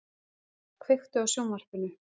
Svala, kveiktu á sjónvarpinu.